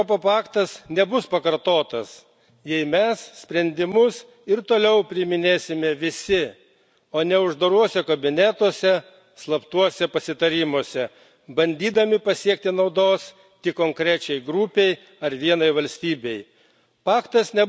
Molotovo Ribentropo paktas nebus pakartotas, jei mes sprendimus ir toliau priiminėsime visi, o ne uždaruose kabinetuose, slaptuose pasitarimuose, bandydami pasiekti naudos tik konkrečiai grupei ar vienai valstybei.